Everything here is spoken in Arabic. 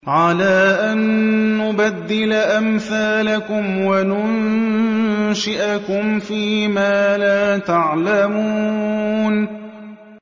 عَلَىٰ أَن نُّبَدِّلَ أَمْثَالَكُمْ وَنُنشِئَكُمْ فِي مَا لَا تَعْلَمُونَ